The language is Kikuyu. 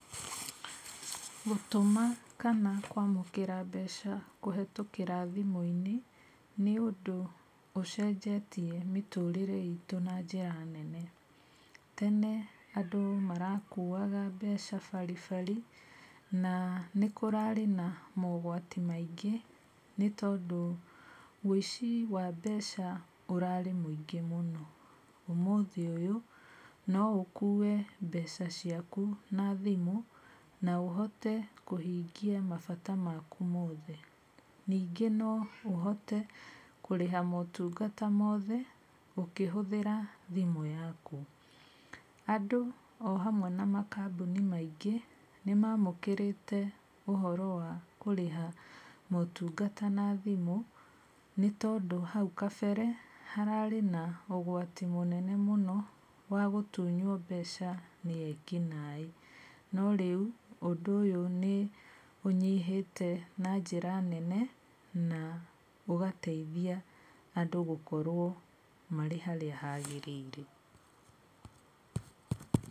Gũtũma kana kwamũkĩra mbeca kũhĩtũkĩra thimũ-inĩ nĩ ũndũ ũcenjetie mĩtũrĩre itũ na njĩra nene. Tene andũ marakuwaga mbeca baribari, na nĩ kũrarĩ na mogwati maingĩ, nĩ tondũ ũici wa mbeca ũrarĩ mũingĩ mũno. Ũmũthĩ ũyũ no ũhote gũkua mbeca ciaku na thimũ na ũhote kũhingia mabata maku mothe. Ningĩ no ũhote kũrĩha motungata mothe ũkĩhũthĩra thimũ yaku. Andũ o hamwe na makambuni maingĩ nĩ maamũkĩrĩte ũhoro wa kũrĩha motungata na thimũ, nĩ tondũ hau kabere hararĩ na ũgwati mũnene mũno wa gũtunywo mbeca nĩ ekinaĩ. No rĩu ũndũ ũyũ nĩ ũnyihĩte na njĩra nene na ũgateithia andũ gũkorwo marĩ harĩa hagĩrĩire.